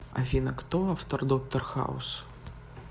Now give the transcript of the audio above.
афина кто автор доктор хаус